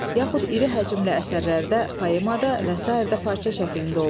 yaxud iri həcmli əsərlərdə, poemada və sairədə parça şəklində olur.